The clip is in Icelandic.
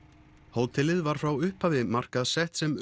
hótelið var frá upphafi markaðssett sem